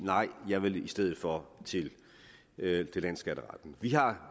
jeg vil i stedet for til landsskatteretten vi har